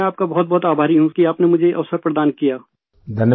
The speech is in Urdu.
میں آپ کا بہت بہت ممنون ہوں، کہ آپ نے مجھے یہ موقع فراہم کیا